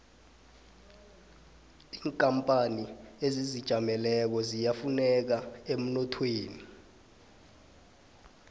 inkapani ezizijameleko ziyafuneka emnothweni